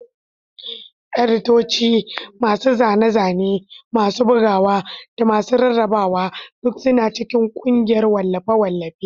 Editoci, masu zane-zane, masu bugawa, da masu rarrabawa duk suna cikin ƙungiyar wallafe-wallafe.